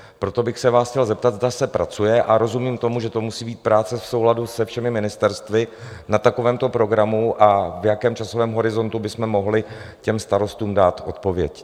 Proto bych se vás chtěl zeptat, zda se pracuje - a rozumím tomu, že to musí být práce v souladu se všemi ministerstvy - na takovémto programu a v jakém časovém horizontu bychom mohli těm starostům dát odpověď.